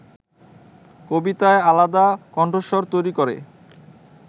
কবিতায় আলাদা কণ্ঠস্বর তৈরি করে